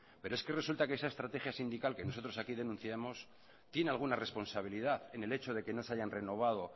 pero es que resulta que esa estrategia sindical que nosotros aquí denunciamos tiene alguna responsabilidad en el hecho de que no se hayan renovado